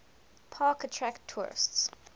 park attract tourists